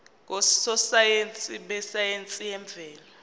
ngososayense besayense yemvelo